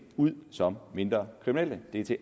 ud som mindre kriminelle det er til